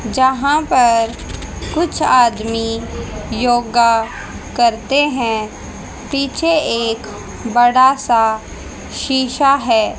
जहाँ पर कुछ आदमी योगा करते हैं पीछे एक बड़ा सा शीशा है।